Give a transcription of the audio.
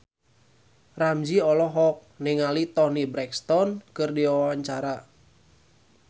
Ramzy olohok ningali Toni Brexton keur diwawancara